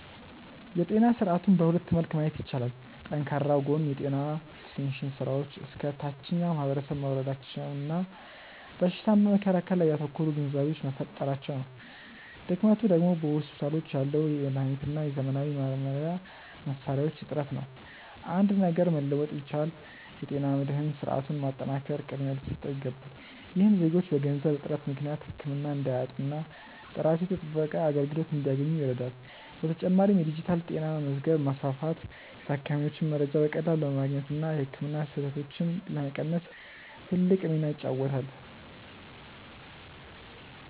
የጤና ስርዓቱን በሁለት መልክ ማየት ይቻላል። ጠንካራው ጎን የጤና ኤክስቴንሽን ስራዎች እስከ ታችኛው ማህበረሰብ መውረዳቸውና በሽታን በመከላከል ላይ ያተኮሩ ግንዛቤዎች መፈጠራቸው ነው። ድክመቱ ደግሞ በሆስፒታሎች ያለው የመድኃኒትና የዘመናዊ መመርመሪያ መሣሪያዎች እጥረት ነው። አንድ ነገር መለወጥ ቢቻል፣ የጤና መድህን ስርዓቱን ማጠናከር ቅድሚያ ሊሰጠው ይገባል። ይህም ዜጎች በገንዘብ እጥረት ምክንያት ህክምና እንዳያጡና ጥራቱ የተጠበቀ አገልግሎት እንዲያገኙ ይረዳል። በተጨማሪም የዲጂታል ጤና መዝገብ ማስፋፋት የታካሚዎችን መረጃ በቀላሉ ለማግኘትና የህክምና ስህተቶችን ለመቀነስ ትልቅ ሚና ይጫወታል።